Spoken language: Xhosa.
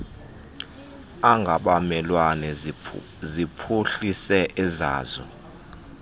angabamelwane ziphuhlise ezazo